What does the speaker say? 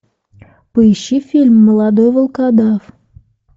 поищи фильм молодой волкодав